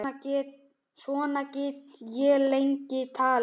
Svona get ég lengi talið.